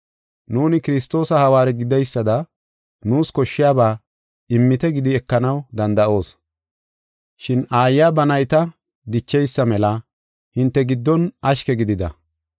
Nuuni Kiristoosa hawaare gideysada nuus koshshiyaba immite gidi ekanaw danda7oos, shin aayiya ba nayta dicheysa mela hinte giddon ashke gidida.